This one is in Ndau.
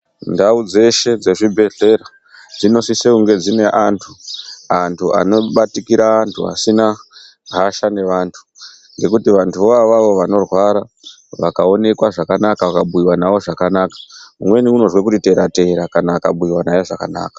Ndau dzeshe dzezvibhedhlera. dzinosise kunge dzine antu, Antu anobatikira antu asina Hasha nevantu, ngekuti vantu voo avavo vanorwara vakaonekwa zvakanaka vakabhuyiwa navo zvakanaka umweni unozwa kuti tera tera kana akabhuyiwa naye zvakanaka.